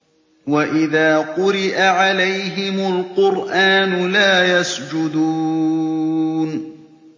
وَإِذَا قُرِئَ عَلَيْهِمُ الْقُرْآنُ لَا يَسْجُدُونَ ۩